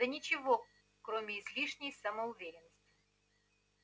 да ничего кроме излишней самоуверенности